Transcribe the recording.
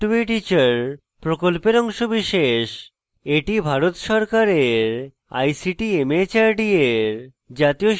এটি ভারত সরকারের ict mhrd এর জাতীয় শিক্ষা mission দ্বারা সমর্থিত